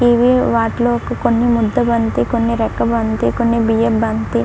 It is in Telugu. ఇవి వాటిలో ఒక కొన్ని ముద్ద బంతి కొన్ని రెక్క బంతి కొన్ని బియ్యపు బంతి--